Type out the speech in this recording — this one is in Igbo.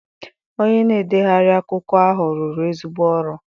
Onye na-edegharị akwụkwọ ahụ rụrụ ezigbo ọrụ.